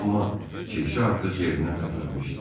Amma kirşə artıq yerindən tərpənmişdi.